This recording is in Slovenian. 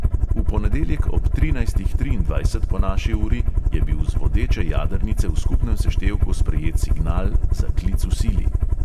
V ponedeljek ob trinajstih triindvajset po naši uri je bil z vodeče jadrnice v skupnem seštevku sprejet signal za klic v sili.